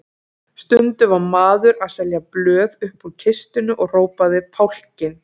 Stundum var maður að selja blöð uppúr kistunni og hrópaði Fálkinn!